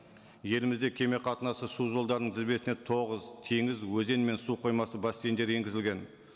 елімізде кеме қатынасы су жолдарының тізбесіне тоғыз теңіз өзен мен су қоймасы бассейндері енгізілген